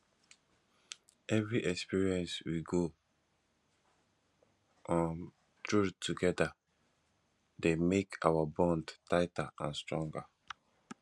every experience we go um through together dey make our bond tighter and stronger